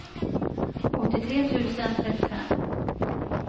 åttiotre tusen trettiofem